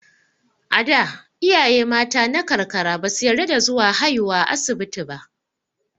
A da, iyaye mata na karkara ba su yarda da zuwa haiwa asibiti ba.